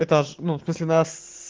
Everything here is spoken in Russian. этаж ну в смысле нас